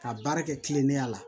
Ka baara kɛ kilennenya la